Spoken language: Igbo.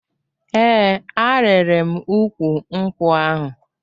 Ee, arịrị m ukwu nkwụ ahụ